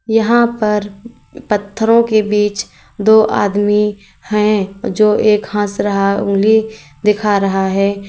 यहां पर पत्थरों के बीच दो आदमी हैं जो एक हंस रहा उंगली दिखा रहा है।